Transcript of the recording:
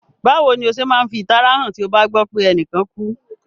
Bàwoni o se ma n fi ìtara han ti o ba gbọ pe enìkan kú?